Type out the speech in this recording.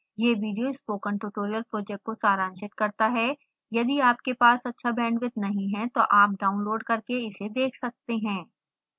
यह video spoken tutorial project को सारांशित करता है